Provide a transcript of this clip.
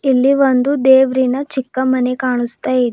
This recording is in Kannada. ಇಲ್ಲಿ ಒಂದು ದೇವರಿನ ಚಿಕ್ಕ ಮನೆ ಕಾಣಿಸ್ತಾ ಇದೆ.